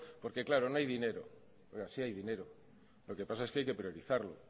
porque claro no hay dinero no sí hay dinero lo que pasa es que hay que priorizarlo